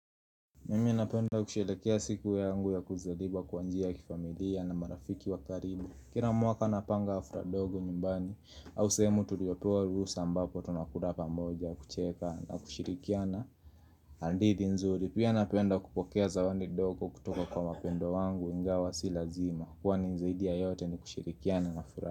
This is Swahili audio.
Mimi napenda kusherehekea siku yangu ya kuzaliwa kwa njia ya kifamilia na marafiki wakaribu Kira mwaka napanga hafra dogo nyumbani au sehemu tuliopewa ruhusaambapo tunakula pamoja kucheka na kushirikiana hadithi nzuri pia napenda kupokea zawandi dogo kutoka kwa mapendo wangu ingawa si lazima Kwani zaidi yote ni kushirikiana na furaha.